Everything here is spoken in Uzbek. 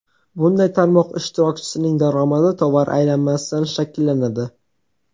Bunday tarmoq ishtirokchisining daromadi tovar aylanmasidan shakllanadi.